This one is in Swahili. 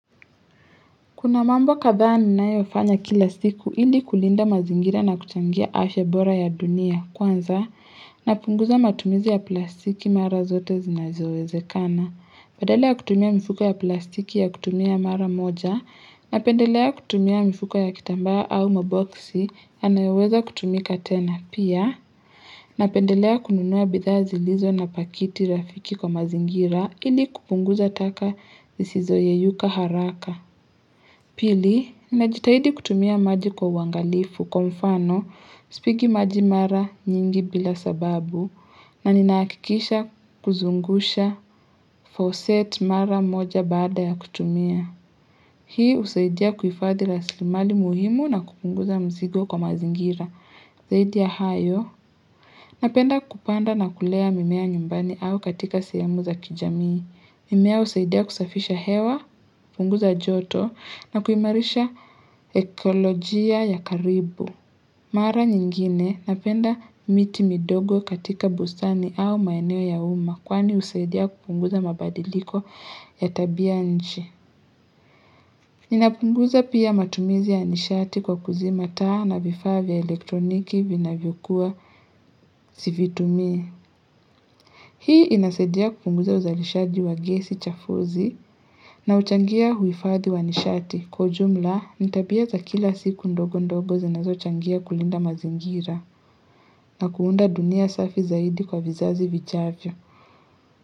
Kuna mambo kadhaa ninayofanya kila siku ili kulinda mazingira na kuchangia ashe bora ya dunia kwanza, napunguza matumizi ya plastiki mara zote zinazowezekana. Badala ya kutumia mifuko ya plastiki ya kutumia mara moja, napendelea kutumia mifuko ya kitambaa au maboksi yanayoweza kutumika tena. Pia, napendelea kununua bidhaa zilizo na pakiti rafiki kwa mazingira ili kupunguza taka zisizoyeyuka haraka. Pili, ninajitahidi kutumia maji kwa uangalifu kwa mfano, sipigi maji mara nyingi bila sababu, na ninahakikisha kuzungusha faucet mara moja baada ya kutumia. Hii husaidia kuhifadhi rasilimali muhimu na kupunguza mzigo kwa mazingira. Zaidia hayo, napenda kupanda na kulea mimea nyumbani au katika sehemu za kijamii. Mimea husaidia kusafisha hewa, kupunguza joto na kuimarisha ekolojia ya karibu. Mara nyingine napenda miti midogo katika bustani au maeneo ya uma kwani husaidia kupunguza mabadiliko ya tabia nchi. Ninapunguza pia matumizi ya nishati kwa kuzima taa na vifaz vya elektroniki vinavyokua sivitumi. Hii inasaidia kupunguza uzalishaji wa gesi chafuzi na huchangia huifadhi wa nishati kwa ujumla ni tabia za kila siku ndogo ndogo zinazochangia kulinda mazingira na kuunda dunia safi zaidi kwa vizazi vijacho.